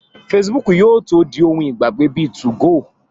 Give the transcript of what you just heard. Fesibúùkù yóò tó di ohun ìgbàgbé bíi 2go